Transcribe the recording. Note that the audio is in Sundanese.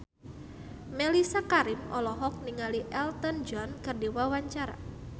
Mellisa Karim olohok ningali Elton John keur diwawancara